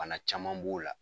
Bana caman b'o la